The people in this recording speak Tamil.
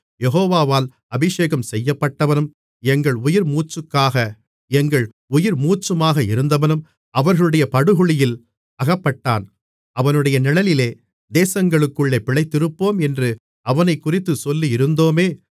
யெகோவாவால் அபிஷேகம்செய்யப்பட்டவனும் எங்கள் உயிர்மூச்சுமாக இருந்தவனும் அவர்களுடைய படுகுழியில் அகப்பட்டான் அவனுடைய நிழலிலே தேசங்களுக்குள்ளே பிழைத்திருப்போம் என்று அவனைக்குறித்துச் சொல்லியிருந்தோமே